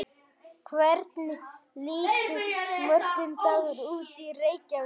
hvernig lítur morgundagurinn út í reykjavík